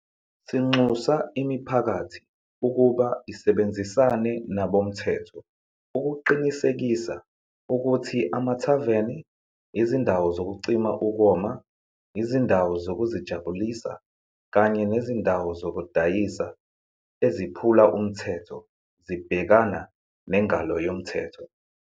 Sinxusa imiphakathi ukuba isebenzisane nabomthetho ukuqinisekisa ukuthi amathaveni, izindawo zokucima ukoma, izindawo zokuzijabulisa kanye nezindawo zokudayisa eziphula umthetho zibhekana nengalo yomthetho.